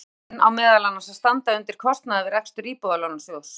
Mismunurinn á meðal annars að standa undir kostnaði við rekstur Íbúðalánasjóðs.